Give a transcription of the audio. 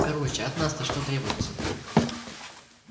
короче от нас то что требуется